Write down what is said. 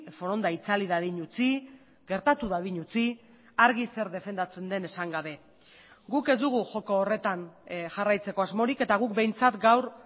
foronda itzali dadin utzi gertatu dadin utzi argi zer defendatzen den esan gabe guk ez dugu joko horretan jarraitzeko asmorik eta guk behintzat gaur